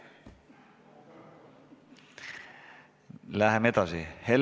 Läheme edasi!